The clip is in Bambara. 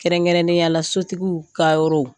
Kɛrɛnkɛrɛnnenya la sotigiw ka yɔrɔ